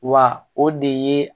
Wa o de ye